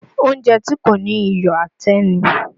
Oúnjẹ tí kò ní iyọ̀ àtẹ́ ni